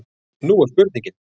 Nú er spurningin?